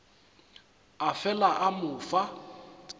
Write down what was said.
a fela a mo fa